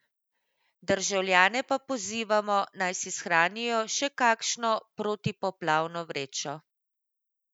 Državljane pa pozivamo, naj si shranijo še kakšno protipoplavno vrečo.